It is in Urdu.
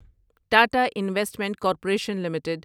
Tata investment corporation limited